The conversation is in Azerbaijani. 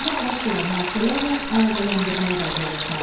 baş verən hadisələrlə əlaqələndirməyi bacarırsan.